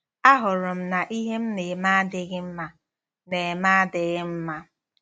Ahụrụ m na ihe m na-eme adịghị mma na-eme adịghị mma.